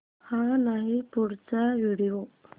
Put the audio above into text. हा नाही पुढचा व्हिडिओ